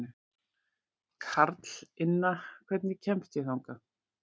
Karlinna, hvernig kemst ég þangað?